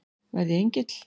Verð ég engill?